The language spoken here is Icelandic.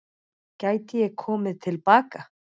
Gæti ég komið til baka?